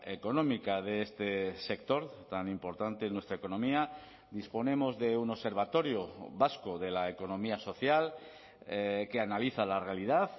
económica de este sector tan importante en nuestra economía disponemos de un observatorio vasco de la economía social que analiza la realidad